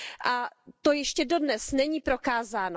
A to ještě dodnes není prokázáno.